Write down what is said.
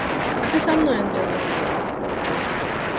а ты со мной он дёрнул веру